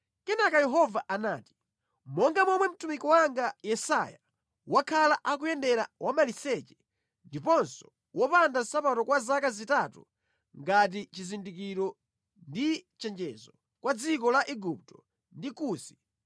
Kenaka Yehova anati, “Monga momwe mtumiki wanga Yesaya wakhala akuyendera wamaliseche ndiponso wopanda nsapato kwa zaka zitatu ngati chizindikiro ndi chenjezo kwa dziko la Igupto ndi Kusi,